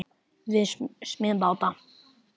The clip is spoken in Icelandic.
Við smíðum báta.